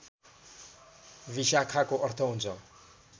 विशाखाको अर्थ हुन्छ